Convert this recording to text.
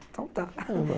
Então tá.